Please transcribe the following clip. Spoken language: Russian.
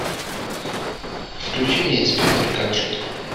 включи мне инспектор гаджет